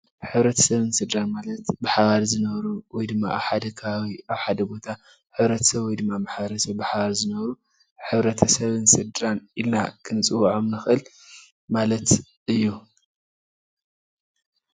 ሕብረተሰብን ስድራን ማለት ብሓበር ዝነብሩ ወይ ድማ ኣብ ሓደ ከባቢ ኣብ ሓደ ቦታን ሕብረተሰብ ወይ ድማ ማሕበረሰብ ብሓባር ዝነብሩ ሕብረተሰብን ስድራን ኢልና ክንፅዎዖም ንክእል ማለት እዩ፡፡